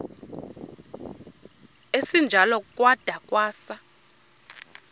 esinjalo kwada kwasa